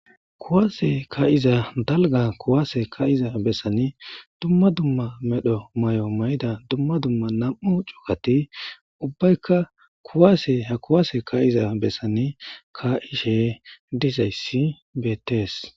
Kuase kaiza daliga kuase kaiza besani dumma dumma madho mayo mayida dumma dumma nam'u cugati ubayika kuase kuase kaiza besani kaishe dizayisi betes.